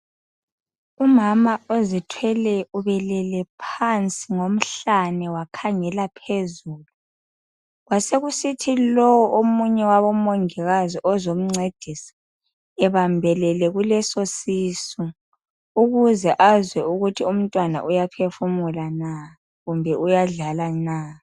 Umama ozithweleyo ubelele phansi ngomhlane wakhangela phezulu kwasekusithi lo omunye wabomongikazi ozomncedisa ebambelele kuleso sisu ukuze azwe ukuthi umntwana uyaphefumula na kumbe uyadlala na